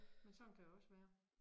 Men sådan kan det også være